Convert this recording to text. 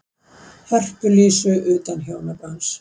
Hörpu Lísu, utan hjónabands.